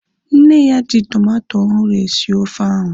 Nne ya ji tomato ọhụrụ esi ofe ahu